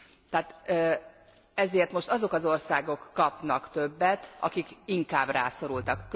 Tehát ezért most azok az országok kapnak többet, akik inkább rászorultak.